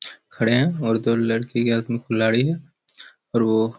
खड़े है और दो लड़की के हाथ में कुल्हाड़ी है और वो--